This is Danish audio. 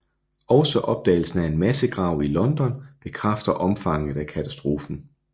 Også opdagelsen af en massegrav i London bekræfter omfanget af katastrofen